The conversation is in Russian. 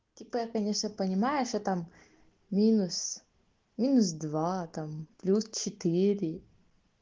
типа я конечно понимаю что там минус минус два там пляс четыре